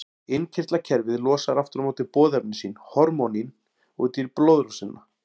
Innkirtlakerfið losar aftur á móti boðefni sín, hormónin, út í blóðrásina.